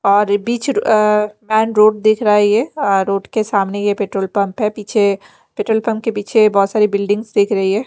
और ये बीच अ मैन रोड दिख रहा है ये अ रोड के सामने ये पेट्रोल पंप है पीछे पेट्रोल पंप के पीछे बहोत सारी बिल्डिंग्स दिख रही है।